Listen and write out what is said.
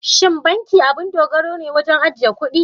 Shin banki abun dogaro ne wajen ajiye kuɗi?